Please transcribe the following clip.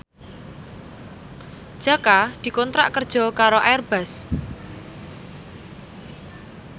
Jaka dikontrak kerja karo Airbus